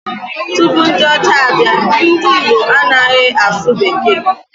Tupu ndị ọcha abịa, ndị Igbo anaghị asụ bekee